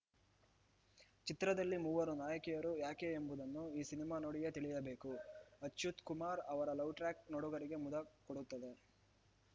ಚಿತ್ರದಲ್ಲಿ ಮೂವರು ನಾಯಕಿಯರು ಯಾಕೆ ಎಂಬುದನ್ನು ಈ ಸಿನಿಮಾ ನೋಡಿಯೇ ತಿಳಿಯಬೇಕು ಅಚ್ಯುತ್‌ಕುಮಾರ್‌ ಅವರ ಲವ್‌ ಟ್ರ್ಯಾಕ್‌ ನೋಡುಗರಿಗೆ ಮುದ ಕೊಡುತ್ತದೆ